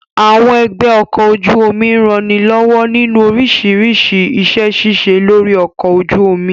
Àwọn ẹgbẹ́ ọkọ̀ ojú omi ń ranilọ́wọ́ nínú oríṣiríṣi iṣẹ́ ṣíṣe lórí ọkọ̀ ojú omi